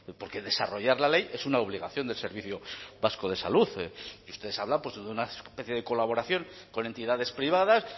porque desarrollar la ley es una obligación del servicio vasco de salud y ustedes hablan pues de una especie de colaboración con entidades privadas